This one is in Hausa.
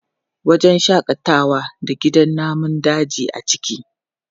Wajen shaƙatawa na da gidan namun daji a ciki.